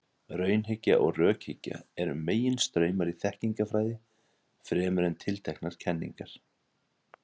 Raunhyggja og rökhyggja eru meginstraumar í þekkingarfræði, fremur en tilteknar kenningar.